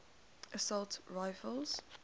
assault rifles